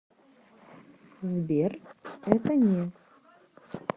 сбер это не